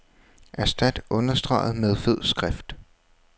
Erstat understreget med fed skrift.